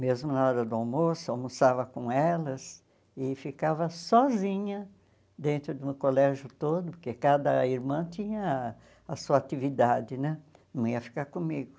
Mesmo na hora do almoço, almoçava com elas e ficava sozinha dentro de um colégio todo, porque cada irmã tinha a sua atividade né, não ia ficar comigo.